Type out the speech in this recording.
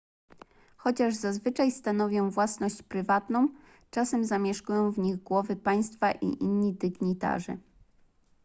chociaż zazwyczaj stanowią własność prywatną czasem zamieszkują w nich głowy państwa i inni dygnitarze